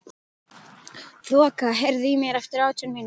Þoka, heyrðu í mér eftir átján mínútur.